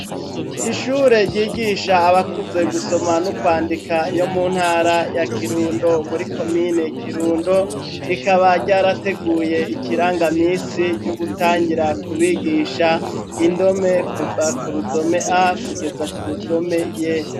Ishure ryigisha abakuze gusoma n'ukwandika yo muntara ya Kirundo muri komine Kirundo rikaba ryarateguye ikiranga misi ryo gutangira kubigisha indome kuva kurudome A kugeza kurudome Y